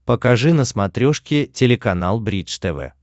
покажи на смотрешке телеканал бридж тв